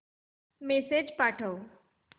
message पाठव